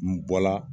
N bɔ la